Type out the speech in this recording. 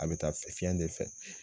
A bɛ taa fiɲɛ de fɛ